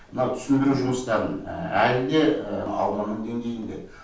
мынау түсіндіру жұмыстарын әлі де ауданның деңгейінде